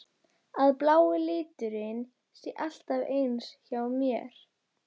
Að blái liturinn sé alltaf eins hjá mér?